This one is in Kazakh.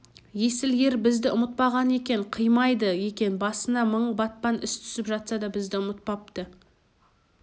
есіл ер бізді ұмытпаған екен қимайды екен басына мың батпан іс түсіп жатса да бізді ұмытпапты